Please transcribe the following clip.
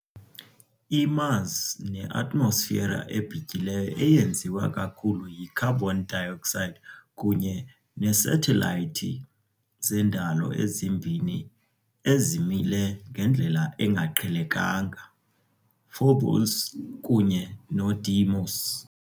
IMars neatmosfera ebhityileyo eyenziwe kakhulu yicarbon dioxide kunye neesathelayithi zendalo ezimbini ezimile ngendlela engaqhelekang, Phobos kunye noDeimos.